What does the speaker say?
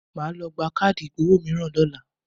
Màá lọ gba káàdì ìgbowó mìíràn lọ́la.